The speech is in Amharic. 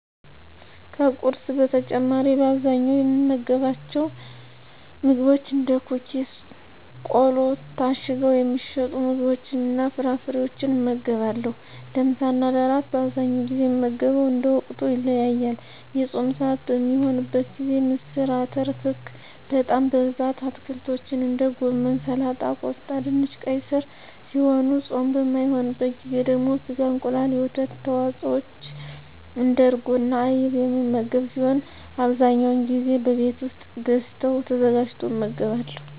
ከቁርስ በተጨማሪ በአብዛኛው የምመገባቸው ምግቦች እንደ ኩኪስ ቆሎ ታሽገው የሚሸጡ ምግቦችንና ፍራፍሬወችን እመገባለሁ። ለምሳና ለእራት በአብዛኛው ጊዜ የምመገበው እንደ ወቅቱ ይለያያል። የፆም ስዓት በሚሆንበት ጊዜ ምስር አተር ክክ በጣም በብዛት አትክልቶችን እንደ ጎመን ሰላጣ ቆስጣ ድንች ቀይ ስር ሲሆኑ ፆም በማይሆንበት ጊዜ ደግሞ ስጋ እንቁላል የወተት ተዋፅወች እንደ እርጎና አይብ የምመገብ ሲሆን አብዛኛውን ጊዜ በቤት ውስጥ ተገዝተው ተዘጋጅቶ እመገባለሁ።